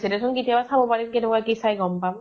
দে চোন । কেতিয়া চাব পাৰিম । কেনেকুৱা কি চাই, গʼম পাম